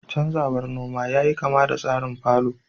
canzawar noma yayi kama da tsarin fallow